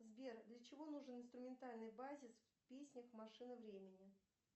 сбер для чего нужен инструментальный базис в песнях машина времени